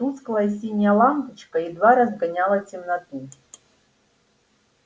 тусклая синяя лампочка едва разгоняла темноту